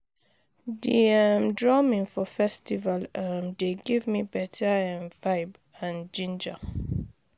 Di um drumming for festival um dey give me better um vibe and ginger